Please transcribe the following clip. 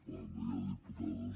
bé no hi ha diputades